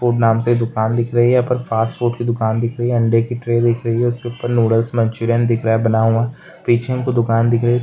पोक नाम से दुकान दिख रही है। फास्ट फूड की दुकान दिख रही है अंडे की ट्रे दिख रही है उसके ऊपर नूडल्स मंचूरियन दिख रहा है बना हुआ पीछे हमको दुकान दिख रही है।